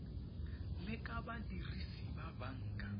le ka badirisi ba banka